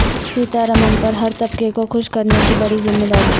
سیتا رمن پر ہر طبقہ کو خوش کرنے کی بڑی ذمہ داری